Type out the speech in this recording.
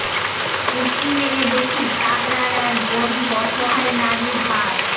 উঁকি মেরে দেখি তাগরার এক গরীব অসহায় নারীর হার